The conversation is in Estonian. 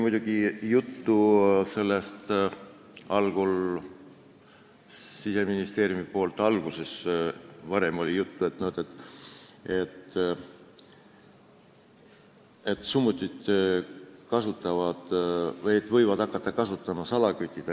Siseministeeriumi poolt oli varem juttu, et summuteid võivad hakata kasutama salakütid.